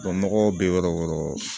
nɔgɔ bɛ yɔrɔ o yɔrɔ